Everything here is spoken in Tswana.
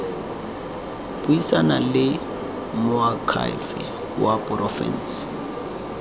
buisana le moakhaefe wa porofense